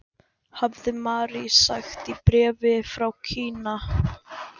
hafði Mary sagt í bréfi frá Kína.